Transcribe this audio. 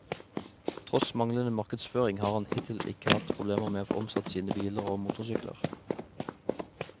Tross manglende markedsføring har han hittil ikke hatt problemer med å få omsatt sine biler og motorsykler.